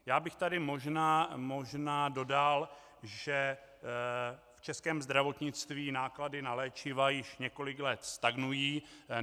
Já bych tady možná dodal, že v českém zdravotnictví náklady na léčiva již několik let stagnují.